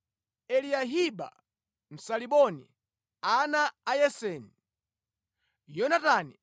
Eliyahiba Msaaliboni, ana a Yaseni, Yonatani,